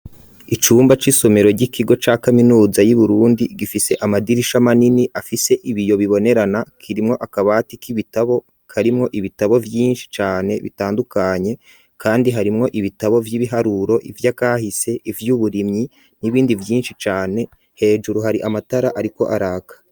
Icumba c'isomero ry'ikigo ca kaminuza y'uburundi gifise amadirisha manini afise ibiyo bibonerana kirimwo akabati k'ibitabo karimwo ibitabo vyinshi cane bitandukanye kandi harimwo ibitabo vy'ibiharuro ivyakahise ivy'uburimyi n'ibindi vyinshi cane, hejuru hari amatara ariko araka.